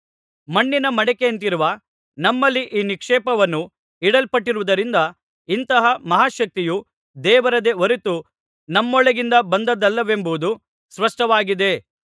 ಮಣ್ಣಿನ ಮಡಿಕೆಯಂತಿರುವ ನಮ್ಮಲ್ಲಿ ಈ ನಿಕ್ಷೇಪವನ್ನು ಇಡಲ್ಪಟ್ಟಿರುವುದರಿಂದ ಇಂತಹ ಮಹಾಶಕ್ತಿಯು ದೇವರದೇ ಹೊರತು ನಮ್ಮೊಳಗಿಂದ ಬಂದದ್ದಲ್ಲವೆಂಬುದು ಸ್ಪಷ್ಟವಾಗಿದೆ